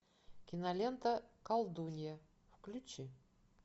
кинолента колдунья включи